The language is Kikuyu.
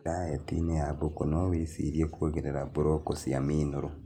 Daetinĩ ya mbũkũ nowĩcirie kuongerera blocko cia mineral